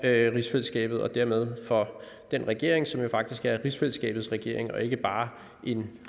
rigsfællesskabet og dermed for den regering som jo faktisk er rigsfællesskabets regering og ikke bare en